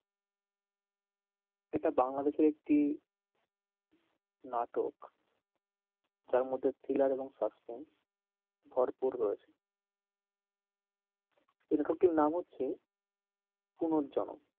এটা বাংলাদেশের একটি নাটক যার মধ্যে thriller এবং suspense ভরপুর রয়েছে এ লেখকটির নাম হচ্ছে, পুনর্জন্ম।